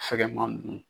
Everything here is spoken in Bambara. Fɛgɛman nunnu